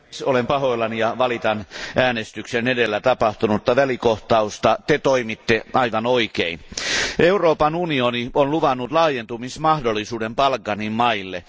Arvoisa puhemies, olen pahoillani ja valitan äänestyksen edellä tapahtunutta välikohtausta. Te toimitte aivan oikein. Euroopan unioni on luvannut laajentumismahdollisuuden Balkanin maille.